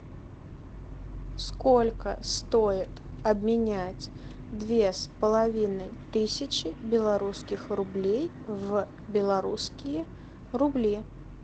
сколько стоит обменять две с половиной тысячи белорусских рублей в белорусские рубли